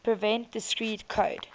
prevent discrete code